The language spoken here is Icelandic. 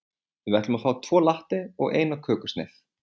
Við ætlum að fá tvo latte og eina kökusneið.